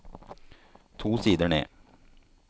To sider ned